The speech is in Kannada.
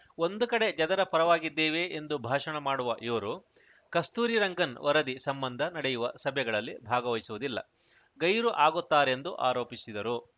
ಒಂದು ಕಡೆ ಜನರ ಪರವಾಗಿದ್ದೇವೆ ಎಂದು ಭಾಷಣ ಮಾಡುವ ಇವರು ಕಸ್ತೂರಿ ರಂಗನ್‌ ವರದಿ ಸಂಬಂಧ ನಡೆಯುವ ಸಭೆಗಳಲ್ಲಿ ಭಾಗವಹಿಸುವುದಿಲ್ಲ ಗೈರು ಆಗುತ್ತಾರೆಂದು ಆರೋಪಿಸಿದರು